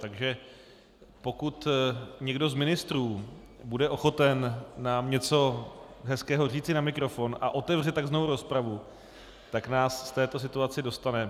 Takže pokud někdo z ministrů bude ochoten nám něco hezkého říci na mikrofon a otevře tak znovu rozpravu, tak nás z této situace dostane.